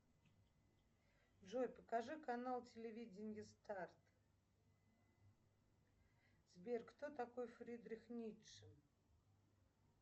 джой покажи канал телевидения старт сбер кто такой фридрих ницше